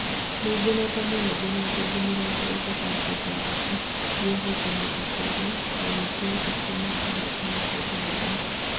Nĩngenete mũno, ndĩna thũmbĩ mĩrongo ĩtatũ na ithatũ iria hotanĩte kũrĩa, na nĩndĩretĩkia nĩngũhootana kĩndũ haha